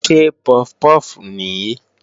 Ṣé puff puff nìí?